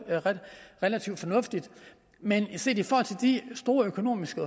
relativt fornuftigt men set i forhold til de store økonomiske